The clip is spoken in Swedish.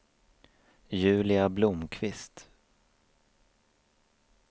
Julia Blomqvist